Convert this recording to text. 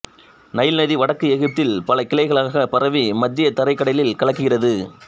Nile நதி வடக்கு எகிப்தில் பல கிளைகளாக பரவி மத்தியத் தரைக் கடலில் கலக்கிறது